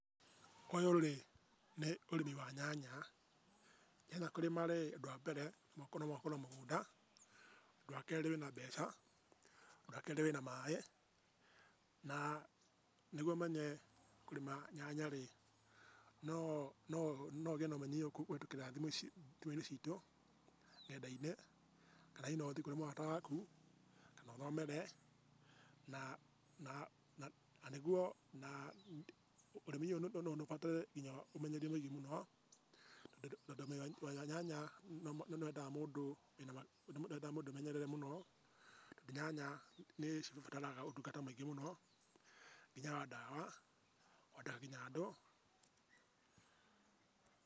Ũyũ-rĩ nĩ ũrĩmi wa nyanya, nyanya kũrĩma-rĩ, ũndũ wa mbere, no mũhaka ũkorwo na mũgũnda, ũndũ wa kerĩ wĩna mbeca, ũndũ wa kerĩ wĩna maĩ, na nĩguo ũmenye kũrĩma nyanya-rĩ, no ũgĩe na ũmenyi ũyũ kũhĩtũkĩra thimũ-inĩ citũ, ngenda-inĩ, kana hihi no ũthiĩ kũrĩ mũrata waku, kana ũthomere, na ũrĩmi ũyũ no ũbatare nginya ũmenyeri mũingĩ mũno, tondũ nyanya nĩwendaga mũndũ wĩna ũmenyeri mũingĩ mũno tondũ nyanya nĩ cibataraga ũtungata mũingĩ mũno, nginya wa ndawa, ona nginya andũ.